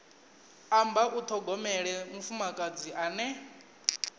amba u ṱhogomela mufumakadzi ane